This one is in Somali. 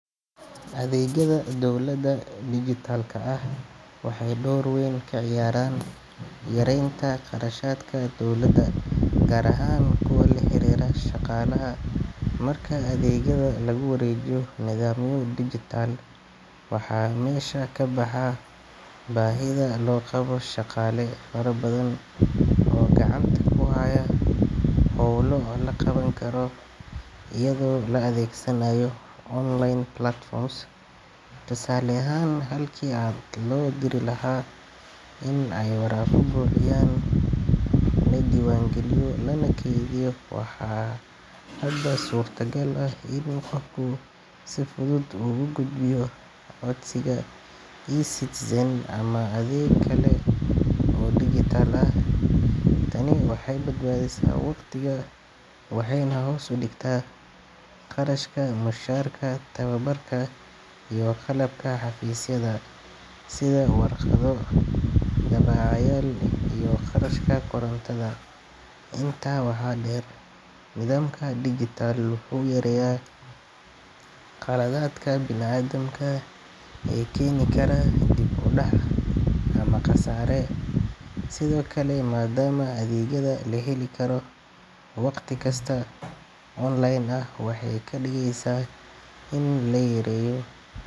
Adeegyada dowladda dijitalka ah waxay door weyn ka ciyaaraan yareynta qarashaadka dowladda, gaar ahaan kuwa la xiriira shaqaalaha. Marka adeegyada lagu wareejiyo nidaamyo digital, waxaa meesha ka baxa baahida loo qabo shaqaale fara badan oo gacanta ku haya howlo la qaban karo iyadoo la adeegsanayo online platforms. Tusaale ahaan, halkii dad loo diri lahaa in ay waraaqo buuxiyaan, la diiwaan geliyo, lana keydiyo, waxaa hadda suurtagal ah in qofku si fudud uga gudbiyo codsigiisa eCitizen ama adeeg kale oo digital ah. Tani waxay badbaadisaa waqtiga, waxayna hoos u dhigtaa qarashka mushaarka, tababarka, iyo qalabka xafiisyada sida warqado, daabacayaal iyo kharashka korontada. Intaa waxaa dheer, nidaamka digital wuxuu yareeyaa khaladaadka bini’aadamka ee keeni kara dib u dhac ama khasaare. Sidoo kale, maadaama adeegyada la heli karo wakhti kasta oo online ah, waxay ka dhigaysaa in la yareeyo.